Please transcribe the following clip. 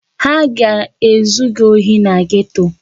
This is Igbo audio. Ha ga-ezu gị ohi na geto.